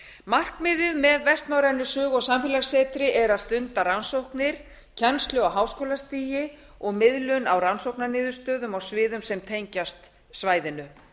markmiðið með vestnorrænu sögu og samfélagssetri er að stunda rannsóknir kennslu á háskólastigi og miðlun á rannsóknarniðurstöðum og sviðum sem tengjast svæðinu